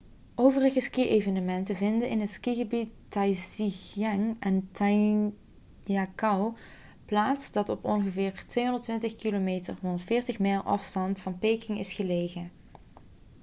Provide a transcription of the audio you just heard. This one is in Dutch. overige ski-evenementen vinden in het skigebied taizicheng in zhangjiakou plaats dat op ongeveer 220 km 140 mijl afstand van peking is gelegen